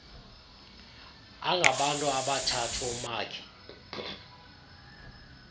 angabantu abathathu umakhi